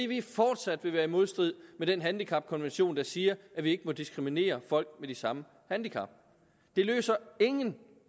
vil fortsat være i modstrid med den handicapkonvention der siger at vi ikke må diskriminere folk med de samme handicap det løser ingen